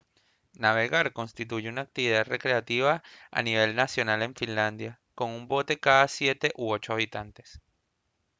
navegar constituye una actividad recreativa a nivel nacional en finlandia con un bote cada siete u ocho habitantes